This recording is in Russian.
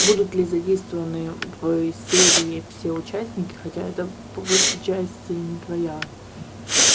будут ли задействованы в серии все участники хотя это по большей части не твоя